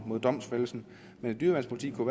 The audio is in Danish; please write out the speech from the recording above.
mod domfældelsen men et dyreværnspoliti kunne